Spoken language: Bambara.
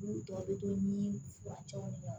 N'u tɔ a bɛ to ni furancɛw ye